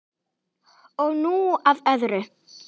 Og nú að öðru.